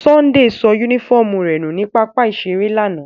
Sunday so unifọmú rẹ nu ni papa-iṣere lana.